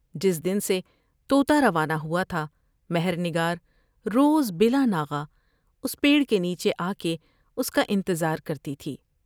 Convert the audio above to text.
جس دن سے تو تا روانہ ہوا تھا ، مہر نگار روز بلا ناغہ اس پیڑ کے نیچے آ کے اس کا انتظار کرتی تھی ۔